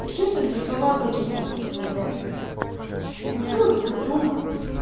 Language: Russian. что это за слова какие-то такие блядь ну кто их придумал